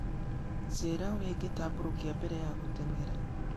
njĩĩra ũrĩa ingĩtambũrũkia mbere ya gũteng'era